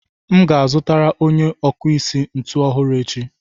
M ga-azụtara onye ọkụ osisi ntu ọhụrụ echi.